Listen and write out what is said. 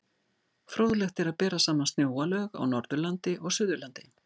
Fróðlegt er að bera saman snjóalög á Norðurlandi og Suðurlandi.